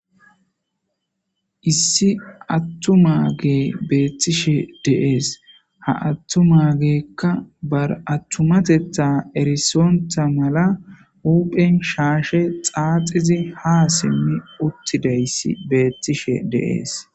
Issi attuma ge beettishe deees ha attumageekka bar attumatetha erisontha mala uphen shaashe xaaxizi ha simmi uttidayssi beettishe deees.